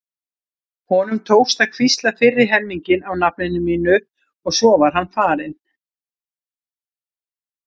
Honum tókst að hvísla fyrri helminginn af nafninu mínu og svo var hann farinn.